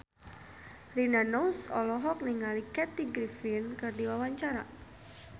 Rina Nose olohok ningali Kathy Griffin keur diwawancara